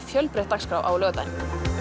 fjölbreytt dagskrá á laugardaginn